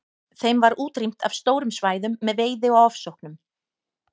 Þeim var útrýmt af stórum svæðum með veiði og ofsóknum.